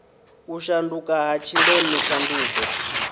u shanduka ha tshileme tshanduko